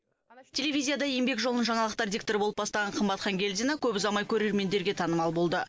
телевизияда еңбек жолын жаңалықтар дикторы болып бастаған қымбат хангелдина көп ұзамай көрермендерге танымал болды